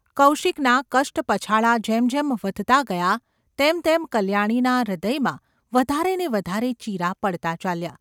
કૌશિકના કષ્ટપછાડા જેમ જેમ વધતા ગયા તેમ તેમ કલ્યાણીના હૃદયમાં વધારે ને વધારે ચીરા પડતા ચાલ્યા.